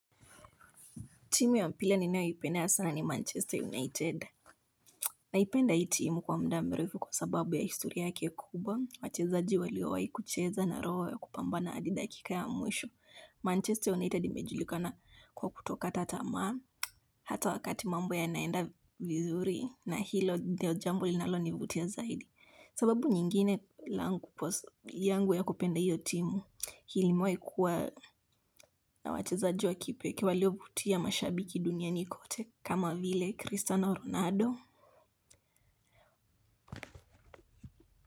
Timu ya mpira ninayoipenda sana ni Manchester United. Naipenda hii timu kwa muda mrefu kwa sababu ya historia yake kubwa. Wachezaji waliowahi kucheza na roho ya kupambana hadi dakika ya mwisho. Manchester United imejulikana kwa kutokataa tamaa. Hata wakati mambo yanaenda vizuri na hilo ndio jambo linalonivutia zaidi. Sababu nyingine yangu ya kupenda hiyo timu, imewahi kuwa na wachezaji wa kipekee waliovutia mashabiki duniani kote. Kama vile Cristiano Ronaldo.